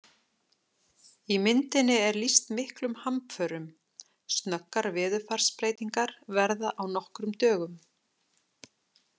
Í myndinni er lýst miklum hamförum, snöggar veðurfarsbreytingar verða á nokkrum dögum!